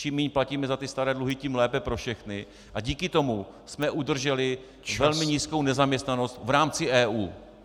Čím méně platíme za ty staré dluhy, tím lépe pro všechny, a díky tomu jsme udrželi velmi nízkou nezaměstnanost v rámci EU.